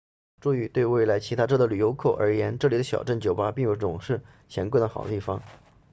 注意对来自其他州的游客而言这里的小镇酒吧并不总是闲逛的好地方